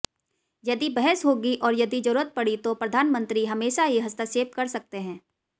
यदि बहस होगी और यदि जरूरत पड़ी तो प्रधानमंत्री हमेशा ही हस्तक्षेप कर सकते हैं